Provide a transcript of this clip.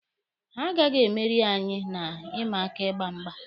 Ha agaghi emeri anyị na ịma aka ịgba mgba.